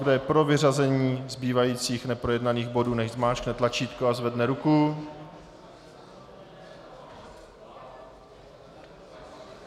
Kdo je pro vyřazení zbývajících neprojednaných bodů, nechť zmáčkne tlačítko a zvedne ruku.